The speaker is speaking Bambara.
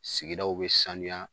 Sigiw be sanuya